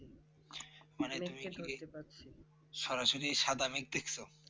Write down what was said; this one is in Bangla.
সরাসরি সাদা মেঘ দেখছো